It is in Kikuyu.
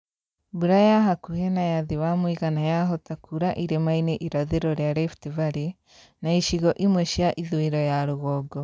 Mbura ya hakuhĩ na ya thĩ wa mũigana yahota kuura irĩma-inĩ irathĩro rĩa Rift Valley na icigo imwe cia ithũĩro ya rũgongo